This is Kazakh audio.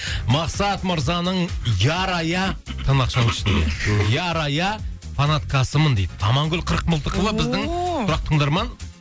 мақсат мырзаның ярая тырнақшаның ішінде ярая фанаткасымын дейді амангүл қырықмылтықова ооо біздің тұрақты тыңдарман